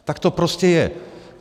Tak to prostě je.